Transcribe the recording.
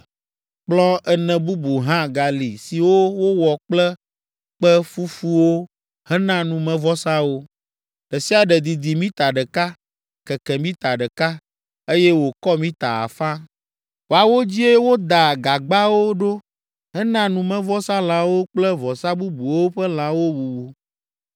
Kplɔ̃ ene bubu hã gali siwo wowɔ kple kpe fufuwo hena numevɔsawo; ɖe sia ɖe didi mita ɖeka, keke mita ɖeka, eye wòkɔ mita afã. Woawo dzie wodaa gagbawo ɖo hena numevɔsalãwo kple vɔsa bubuwo ƒe lãwo wuwu.